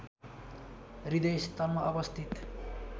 हृदय स्थलमा अवस्थित